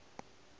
ge e ka se ne